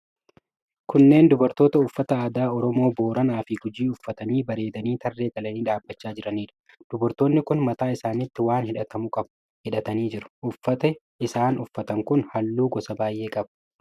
Kunneen dubartoota uffata aadaa Oromoo Booranaa fi Gujii uffatanii bareedanii tarree galanii dhaabachaa jiraniidha. Dubartoonni kun mataa isaanitti waan hidhatamuu qabu hidhatanii jiru. Uffati isaan uffatan kun halluu gosa baay'ee qaba.